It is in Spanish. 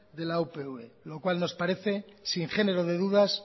de la upv lo cual nos parece sin género de dudas